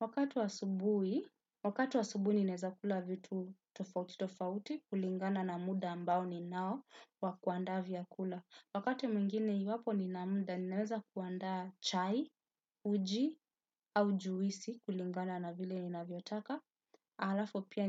Wakati wa asubuhi, wakati wa asubuhi ninaweza kula vitu tofauti tofauti kulingana na muda ambao ninao wa kuanda vyakula. Wakati mwingine iwapo nina muda, ninaweza kuandaa chai, uji, au juisi kulingana na vile ninavyotaka. Alafu pia